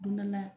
Don dɔ la